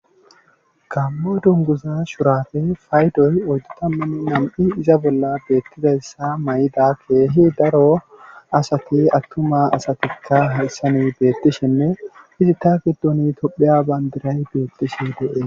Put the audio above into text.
Gaamo dungguza shuraafe paydoy oyddu tammanne iza bolla beetizayssa mayida keehi daro asati attuma asatikka hayssani beetishenne eta giddoni tophiya banddiray beetishe de7ee.